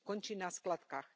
Končí na skládkach.